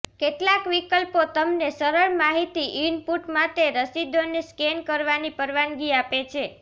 કેટલાક વિકલ્પો તમને સરળ માહિતી ઇનપુટ માટે રસીદોને સ્કૅન કરવાની પરવાનગી આપે છે